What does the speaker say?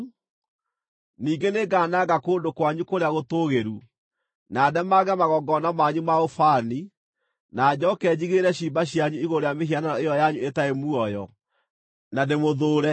Ningĩ nĩngananga kũndũ kwanyu kũrĩa gũtũũgĩru, na ndemange magongona manyu ma ũbani na njooke njigĩrĩre ciimba cianyu igũrũ rĩa mĩhianano ĩyo yanyu ĩtarĩ muoyo, na ndĩmũthũũre.